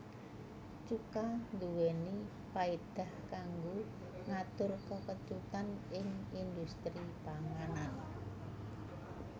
Cuka nduwèni paédah kanggo ngatur kekecutan ing indhustri panganan